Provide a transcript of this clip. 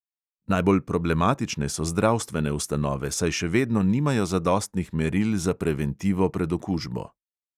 Najbolj problematične so zdravstvene ustanove, saj še vedno nimajo zadostnih meril za preventivo pred okužbo.